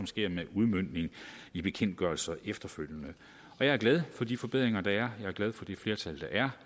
sker med udmøntning i bekendtgørelser efterfølgende jeg er glad for de forbedringer der er jeg er glad for det flertal der er